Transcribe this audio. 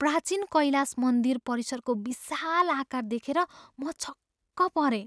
प्राचीन कैलास मन्दिर परिसरको विशाल आकार देखेर म छक्क परेँ!